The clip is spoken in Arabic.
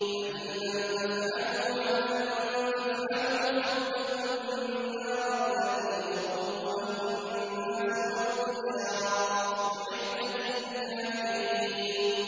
فَإِن لَّمْ تَفْعَلُوا وَلَن تَفْعَلُوا فَاتَّقُوا النَّارَ الَّتِي وَقُودُهَا النَّاسُ وَالْحِجَارَةُ ۖ أُعِدَّتْ لِلْكَافِرِينَ